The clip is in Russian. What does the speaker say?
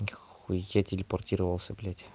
нихуя телепортировался блядь